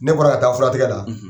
Ne bɔra ka taa fura tigɛ la;